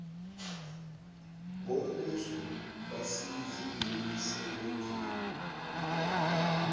bombuso basize emsebenzini